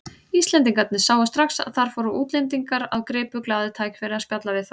Íslendingarnir sáu strax að þar fóru útlendingar og gripu glaðir tækifærið að spjalla við þá.